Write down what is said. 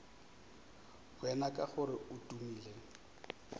wena ka gore o tumile